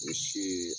U si